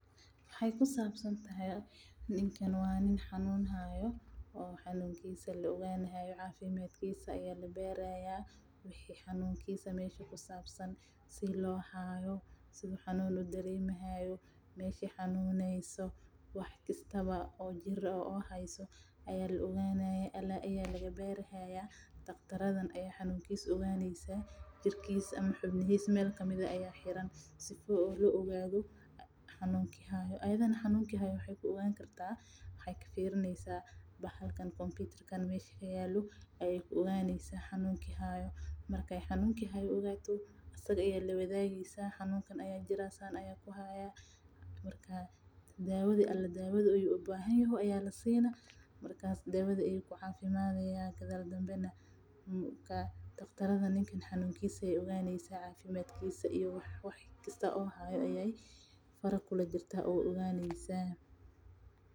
Waxeey ku sabsan tahay ninka xanuun ayaa haaya cafimadkiisa ayaa labaari haaya sida loo haayo meesha xanuneyso ayaa labaari haaya daqtartan ayaa baari haaysa jirkiisa ayaa wax lagu xire waxaay tahay ku oganeysa waxa hor yaalo kadib waay usheegaya daawa ayaa lasiinaya kadib wuu cafimadaya kadib waxaay oganeysa cafimadkiisa ayeey faraha kula jirta.